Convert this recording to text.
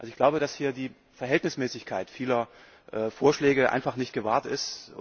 Ich glaube, dass hier die Verhältnismäßigkeit vieler Vorschläge einfach nicht gewahrt ist.